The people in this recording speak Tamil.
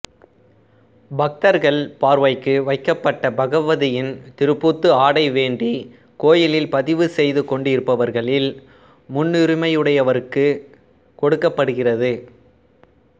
பக்தர்கள் பார்வைக்கு வைக்கப்பட்ட பகவதியின் திருப்பூத்து ஆடை வேண்டி கோயிலில் பதிவு செய்து கொண்டிருப்பவர்களில் முன்னுரிமையுடையவருக்கு கொடுக்கப்படுகிறது